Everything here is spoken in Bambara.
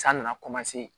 San nana